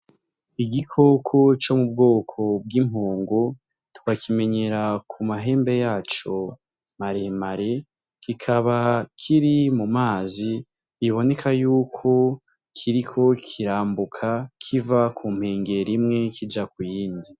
Igikoko co mu bwoko bw'impongo tukakimenyera ku mahembe yaco maremare kikaba kiri mu mazi biboneka yuko kiriko kirambuka kiva ku nkengera imwe kija ku yindi.